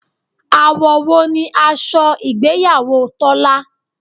Àwọ̀ wo ni aṣọ ìgbéyàwó Tọ́lá?